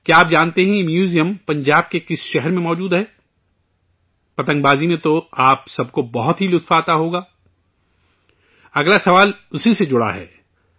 کیا آپ جانتے ہیں، یہ میوزیم، پنجاب کے کس شہر میں موجود ہے؟ پتنگ بازی میں تو آپ سب کو بہت مزہ آتا ہی ہوگا، اگلا سوال اسی سے جڑا ہے